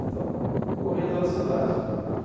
Então, corria toda a cidade.